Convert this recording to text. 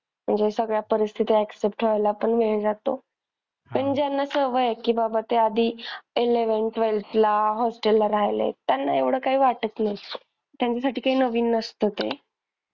तरी सगळ्या परिस्थिती accept व्हायला पण वेळ जातो. आणि ज्यांना सवय आहे कि बाबा ते आधी eleventh twelfth ला hostel ला राहिलेत त्यांना एवढं काही वाटत नाही त्यांच्या साठी काय नवीन नसत ते.